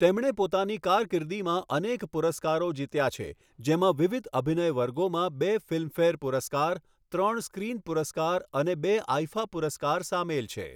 તેમણે પોતાની કારકિર્દીમાં અનેક પુરસ્કારો જીત્યા છે, જેમાં વિવિધ અભિનય વર્ગોમાં બે ફિલ્મફેર પુરસ્કાર, ત્રણ સ્ક્રીન પુરસ્કાર અને બે આઈફા પુરસ્કાર સામેલ છે.